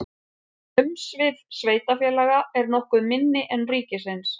umsvif sveitarfélaga eru nokkuð minni en ríkisins